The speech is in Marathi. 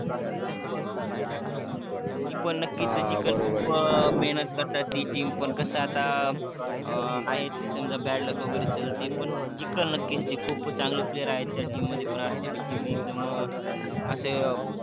ती पण नक्कीच हा बरोबर आहे जिकल खूपच महेनत करतात ती team पण कस आता आहेच bad luck वगेरे चलते पण जिकल नक्कीच ते खूप चांगले player आहे त्या team मध्ये rcb team एक नंबर अस